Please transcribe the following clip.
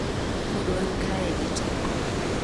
Pod wan kae gi teko."